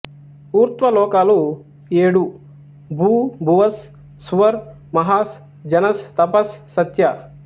ఊర్ధ్వ లోకాలు ఏడు భూ భువస్ సువర్ మహాస్ జనస్ తపస్ సత్య